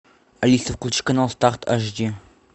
алиса включи канал старт ашди